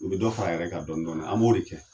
U bɛ dɔ fara a yɛrɛ ka dɔɔnin-dɔɔnin an b'o de kɛ